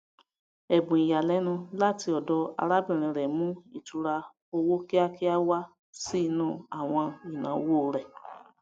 ẹbùn ìyàlẹnu láti ọdọ arábìnrin rẹ mú ìtùúra owó kíákíá wá sí inú àwọn ináwó rẹ